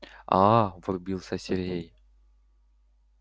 аа врубился сергей